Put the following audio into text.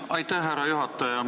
Aitäh, härra juhataja!